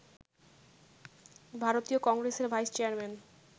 ভারতীয় কংগ্রেসের vice chairman